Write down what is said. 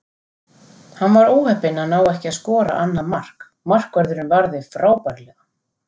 Hann var óheppinn að ná ekki að skora annað mark, markvörðurinn varði frábærlega.